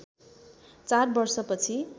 चार वर्षपछि